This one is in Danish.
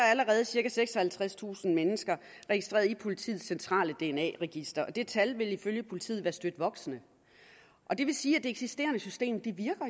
allerede cirka seksoghalvtredstusind mennesker registreret i politiets centrale dna register og det tal vil ifølge politiet være støt voksende og det vil sige at det eksisterende system